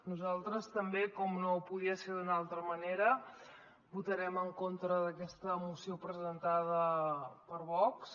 nosaltres també com no podia ser d’una altra manera votarem en contra d’aquesta moció presentada per vox